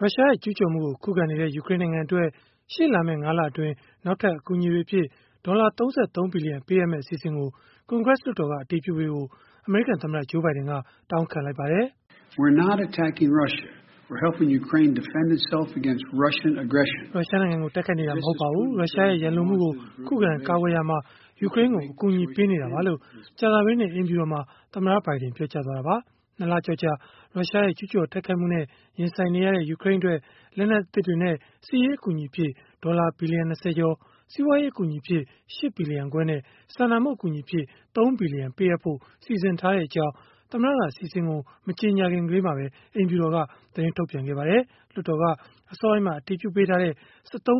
ရုရှားရဲ့ ကျုးကျော်မှုကို ခုခံနေတဲ့ ယူကရိန်းနိုင်ငံအတွက် ရှေ့လာမယ့် ၅ လအတွင်း နောက်ထပ် အကူအညီအဖြစ် ဒေါ်လာ ၃၃ ဘီလီယံ ပေးအပ်မယ့် အစီအစဉ်ကို ကွန်ဂရက်လွှတ်တော်က အတည်ပြုပေးဖို့ အမေရိကန်သမ္မတ Joe Biden တောင်းခံလိုက်ပါတယ်။ “ရုရှားနိုင်ငံကို တိုက်ခိုက်နေတာ မဟုတ်ပါဘူး။ ရုရှားရဲ့ ရန်လိုမှုကို ခုခံကာကွယ်ရာမှာ ယူကရိန်းကို အကူအညီပေးနေတာပါ။” လို့ ကြာသပတေးနေ့ အိမ်ဖြူတော်မှာ သမ္မတဘိုင်ဒင် ပြောကြားသွားတာပါ။ ၂ လကျော်ကြာ ရုရှားရဲ့ ကျုးကျော်တိုက်ခိုက်မှုနဲ့ ရင်ဆိုင်နေရတဲ့ ယူကရိန်းအတွက် လက်နက်သစ်တွေနဲ့ စစ်ရေးအကူအညီအဖြစ် ဒေါ်လာ ဘီလီယံ ၂၀ ကျော်၊ စီးပွားရေး အကူအညီအဖြစ် ၈ ဘီလီယံခွဲနဲ့ စာနာမှု အကူအညီအဖြစ် ၃ ဘီလီယံ ပေးအပ်ဖို့ စီစဉ်ထားကြောင်း သမ္မတက အစီအစဉ်ကို မကြေညာခင်မှာပဲ အိမ်ဖြူတော်က သတင်းထုတ်ပြန် ထားပါတယ်။ လွှတ်တော်က အစောပိုင်းမှာ အတည်ပြုပေးထားတဲ့ ၁၃.၆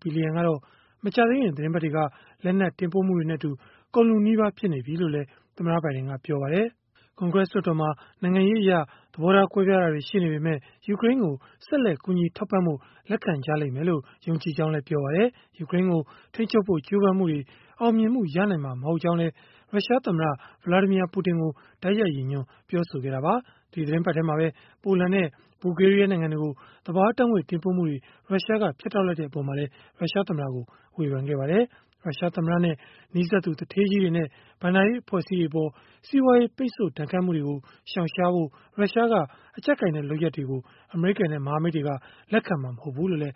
ဘီလီယံကတော့ မကြာသေးခင် သီတင်းပတ်တွေက လက်နက် တင်ပို့မှုတွေနဲ့အတူ ကုန်လုနီးပါး ဖြစ်နေပြီလို့လည်း သမ္မတဘိုင်ဒင်က ပြောပါတယ်။ ကွန်ဂရက် လွှတ်တော်မှာ နိုင်ငံရေးအရ သဘောထား ကွဲပြားတာတွေ ရှိပေမဲ့ ယူကရိန်းကို ဆက်လက် ကူညီထောက်ပံ့ဖို့ လက်ခံလိမ့်မယ်လို့ ယုံကြည်ကြောင်းလည်း ပြောပါတယ်။ ယူကရိန်းကို ထိန်းချုပ်ဖို့ ကြိုးပမ်းမှုတွေ အောင်မြင်မှု ရနိုင်မှာ မဟုတ်ကြောင်းလည်း ရုရှားသမ္မတ Vladimir Putin ကို တိုက်ရိုက်ရည်ညွှန်း ပြောဆိုခဲ့တာပါ။ ဒီသီတင်းပတ်ထဲမှာပဲ ပိုလန်နဲ့ ဘူလ်ဂေးရီးယား နိုင်ငံတွေကို သဘာဝဓာတ်ငွေ့ တင်ပို့မှုတွေ ဖြတ်တောက်လိုက်တဲ့ အပေါ်မှာလည်း ရုရှားသမ္မတကို ဝေဖန်လိုက်ပါတယ်။ ရုရှားသမ္မတနဲ့ နီးစပ်သူ သူဌေးကြီးတွေနဲ့ ဘဏ္ဍာရေးအဖွဲ့အစည်းတွေအပေါ် စီးပွားရေး ပိတ်ဆို့ ဒဏ်ခတ်မှုတွေကို ရှောင်ရှားဖို့ ရုရှားက အကျပ်ကိုင်တဲ့ လုပ်ရပ်ကို အမေရိကန်နဲ့ မဟာမိတ်တွေ လက်ခံမှာ မဟုတ်ဘူးလို့လည်း